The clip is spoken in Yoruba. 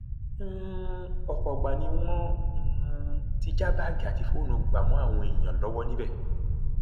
um ọpọ ìgbà ni wọn um ti já báàgì àti fóònù gbà mọ àwọn èèyàn lọwọ níbẹ